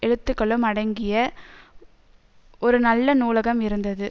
எழுத்துக்களும் அடங்கிய ஒரு நல்ல நூலகம் இருந்தது